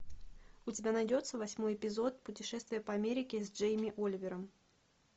у тебя найдется восьмой эпизод путешествие по америке с джейми оливером